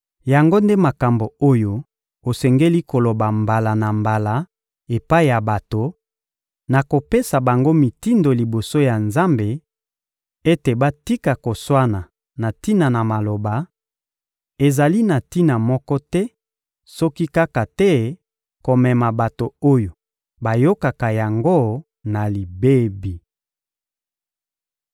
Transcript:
Yango nde makambo oyo osengeli koloba mbala na mbala epai ya bato, na kopesa bango mitindo liboso ya Nzambe ete batika koswana na tina na maloba; ezali na tina moko te, soki kaka te komema bato oyo bayokaka yango na libebi.